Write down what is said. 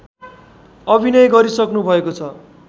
अभिनय गरिसक्नु भएको छ